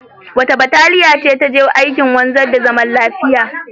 Wace bataliya ce ta je aikin wanzar da zaman lafiya?